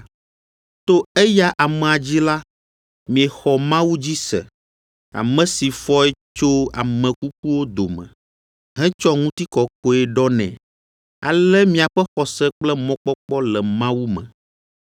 To eya amea dzi la, miexɔ Mawu dzi se, ame si fɔe tso ame kukuwo dome, hetsɔ ŋutikɔkɔe ɖɔ nɛ, ale miaƒe xɔse kple mɔkpɔkpɔ le Mawu me.